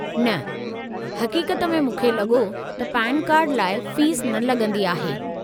न, हक़ीक़त में मूंखे लॻो त पेन कार्ड लाइ फ़ीस न लॻंदी आहे।